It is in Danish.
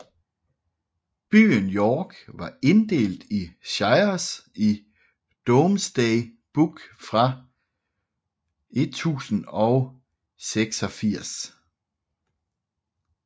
Byen York var inddelt i shires i Domesday Book fra 1086